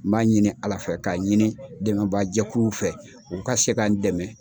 N b'a ɲini ALA fɛ k'a ɲini dɛmɛbaajɛkuluw fɛ u ka se ka n dɛmɛ.